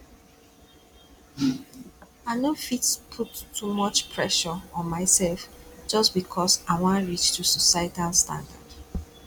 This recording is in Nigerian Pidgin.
i no fit put too much pressure on myself just because i wan reach to societal standard